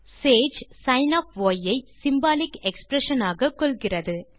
Sage சின் of ய் ஐ சிம்பாலிக் எக்ஸ்பிரஷன் ஆக கொள்கிறது